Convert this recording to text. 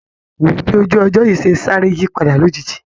Wò ó bí ojú ọjọ́ yìí ṣe sáré yípadà lójijì